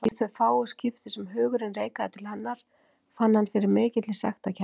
Í þau fáu skipti sem hugurinn reikaði til hennar fann hann fyrir mikilli sektarkennd.